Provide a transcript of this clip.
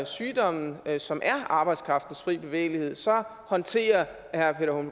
sygdommen som er arbejdskraftens fri bevægelighed håndterer herre